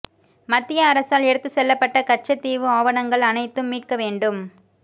மத்திய அரசால் எடுத்துச் செல்லப்பட்ட கட்சத் தீவு ஆவணங்கள் அனைத்தும் மீட்க வேண்டும்